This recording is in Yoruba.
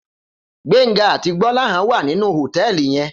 Gbenga àtí Gbolahan wá ninú hótèlí yèn